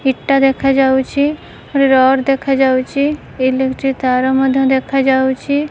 ଇଟା ଦେଖା ଯାଉଛି ଗୋଟେ ରଡ଼ ଦେଖା ଯାଉଛି ଇଲେକ୍ଟ୍ରିକ ତାର ମଧ୍ୟ ଦେଖା ଯାଉଛି।